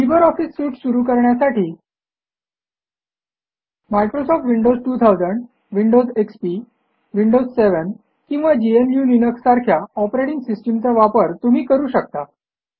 Libre Office suite सुरू करण्यासाठी Microsoft Windows 2000 Windows XP Windows seven किंवा gnuलिनक्स सारख्या ऑपरेटिंग सिस्टम चा वापर तुम्ही करू शकता